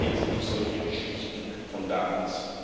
Erzählen Sie nicht solche Geschichten von damals.